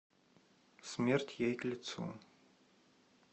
смерть ей к лицу